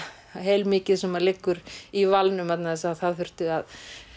heilmikið sem liggur í valnum vegna þess að það þurfti að